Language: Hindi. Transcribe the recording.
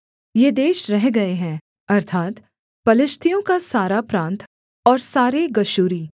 ये देश रह गए हैं अर्थात् पलिश्तियों का सारा प्रान्त और सारे गशूरी